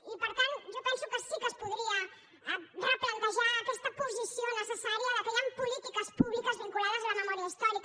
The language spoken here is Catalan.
i per tant jo penso que sí que es podria replantejar aquesta posició necessària que hi han polítiques publiques vinculades a la memòria històrica